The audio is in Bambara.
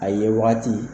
A ye wagati